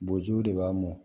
Bozow de b'a mɔn